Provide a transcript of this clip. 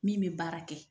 Min bɛ baara kɛ